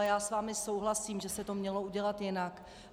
A já s vámi souhlasím, že se to mělo udělat jinak.